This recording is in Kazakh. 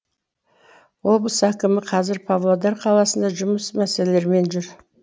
облыс әкімі қазір павлодар қаласында жұмыс мәселелерімен жүр